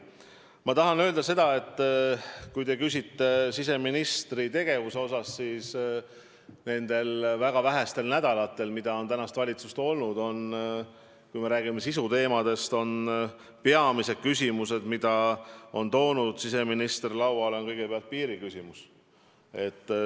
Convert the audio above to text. Ma tahan öelda seda, et kui te küsite siseministri tegevuse kohta, siis nendel väga vähestel nädalatel, mille jooksul valitsus on ametis olnud, on peamine sisuteema, mis siseminister on lauale toonud, olnud kõigepealt piiriküsimus.